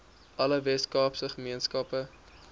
alle weskaapse gemeenskappe